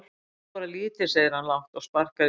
Ég þarf bara lítið segir hann lágt og sparkar í stein.